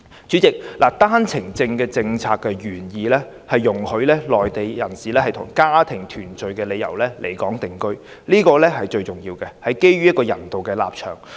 主席，單程證政策的原意是容許內地人士以家庭團聚的理由來港定居，這是最重要的一點，也是基於人道立場作出的安排。